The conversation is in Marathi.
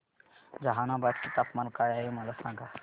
जहानाबाद चे तापमान काय आहे मला सांगा